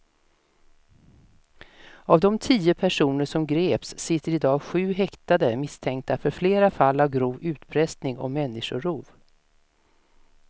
Av de tio personer som greps sitter i dag sju häktade misstänkta för flera fall av grov utpressning och människorov.